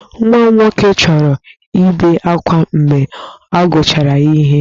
Nwa m nwoke chọrọ ibe akwa mgbe a kụchara ya ihe.